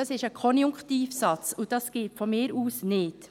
Das ist ein Konjunktivsatz, das geht aus meiner Sicht nicht.